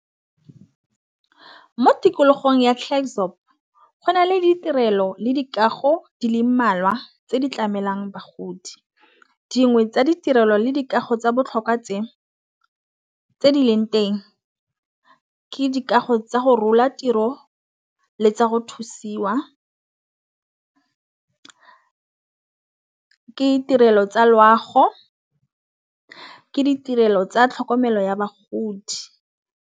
Mo tikologong ya Klerkdorp go na le ditirelo le dikago di le mmalwa tse di tlamelwang bagodi. Dingwe tsa ditirelo le dikago tsa botlhokwa tse di leng teng ke dikago tsa go rola tiro le tsa go thusiwa. Ke ditirelo tsa loago, ke ditirelo tsa tlhokomelo ya bagodi.